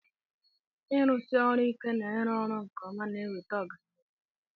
ịrụsi ọrụ ike na ịrụ ọrụ nke ọma na-eweta ọganihu